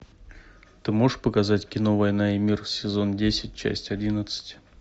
ты можешь показать кино война и мир сезон десять часть одиннадцать